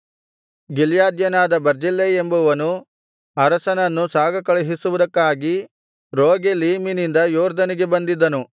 ಗಿಲ್ಯಾದ್ಯನಾದ Barzillai ಎಂಬುವನು ಅರಸನನ್ನು ಸಾಗಕಳುಹಿಸುವುದಕ್ಕಾಗಿ ರೋಗೆಲೀಮಿನಿಂದ ಯೊರ್ದನಿಗೆ ಬಂದಿದ್ದನು